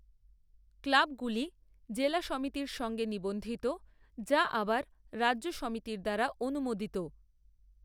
ক্লাবগুলি জেলা সমিতির সঙ্গে নিবন্ধিত, যা আবার রাজ্য সমিতির দ্বারা অনুমোদিত৷